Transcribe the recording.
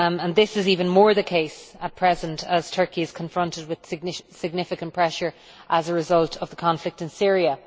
This is even more the case at present as Turkey is confronted with significant pressure as a result of the conflict in Syria.